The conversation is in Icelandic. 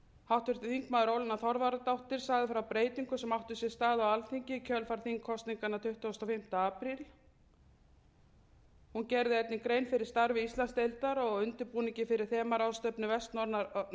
háttvirtur þingmaður ólína þorvarðardóttir sagði frá breytingum sem áttu sér stað á alþingi í kjölfar þingkosninganna tuttugasta og fimmta apríl hún gerði einnig grein fyrir starfi íslandsdeildar og undirbúningi fyrir þemaráðstefnu vestnorræna ráðsins